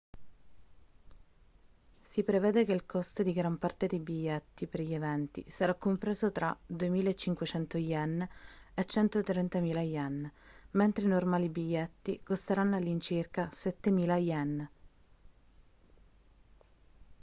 si prevede che il costo di gran parte dei biglietti per gli eventi sarà compreso tra 2.500 ¥ e 130.000 ¥ mentre i normali biglietti costeranno all'incirca 7.000 ¥